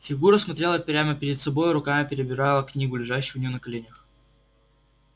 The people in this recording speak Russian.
фигура смотрела прямо перед собой руками перебирала книгу лежащую у неё на коленях